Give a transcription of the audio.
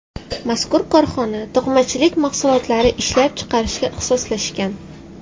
Mazkur korxona to‘qimachilik mahsulotlari ishlab chiqarishga ixtisoslashgan.